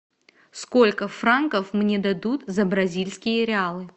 сколько франков мне дадут за бразильские реалы